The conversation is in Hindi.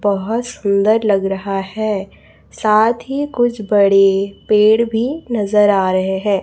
बोहोत सुंदर लग रहा है साथ ही कुछ बड़े पेड़ भी नजर आ रहे हैं।